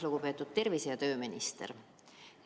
Lugupeetud tervise- ja tööminister!